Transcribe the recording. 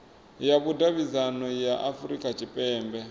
ya vhudavhidzano ya afurika tshipembe